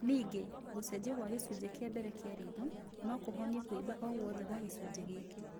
Ningĩ, gũcenjio kwa gĩcunjĩ kĩa mbere kĩa ritho, no kĩhonie kũimba oguothe gwa gĩcunjĩ gĩkĩ